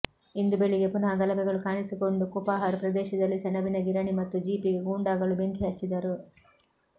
ಇಂದು ಬೆಳಿಗ್ಗೆ ಪುನಃ ಗಲಭೆಗಳು ಕಾಣಿಸಿಕೊಂಡು ಕುಪಹರ್ ಪ್ರದೇಶದಲ್ಲಿ ಸೆಣಬಿನ ಗಿರಣಿ ಮತ್ತು ಜೀಪಿಗೆ ಗೂಂಡಾಗಳು ಬೆಂಕಿ ಹಚ್ಚಿದರು